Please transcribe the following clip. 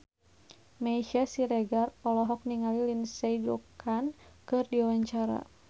Meisya Siregar olohok ningali Lindsay Ducan keur diwawancara